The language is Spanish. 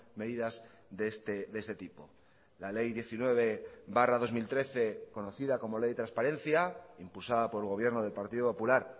medidas de este tipo la ley diecinueve barra dos mil trece conocida como ley de transparencia impulsada por el gobierno del partido popular